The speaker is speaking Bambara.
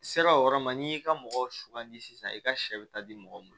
I sera o yɔrɔ ma n'i y'i ka mɔgɔw sugandi sisan i ka sɛ bɛ taa di mɔgɔw ma